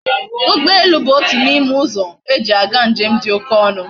Ugbo elu bu otu na ime uzo eji aga njem di oke onu